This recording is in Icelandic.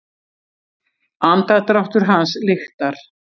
Andardráttur hans lyktar.